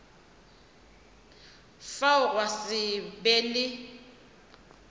fao gwa se be le